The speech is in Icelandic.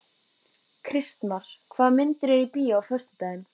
Kristmar, hvaða myndir eru í bíó á föstudaginn?